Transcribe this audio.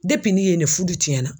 ni ye ne fudu tiɲɛna